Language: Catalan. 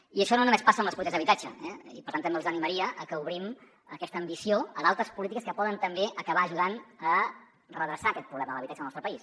i això no només passa amb les polítiques d’habitatge eh i per tant també els animaria a que obrim aquesta ambició a d’altres polítiques que poden també acabar ajudant a redreçar aquest problema de l’habitatge al nostre país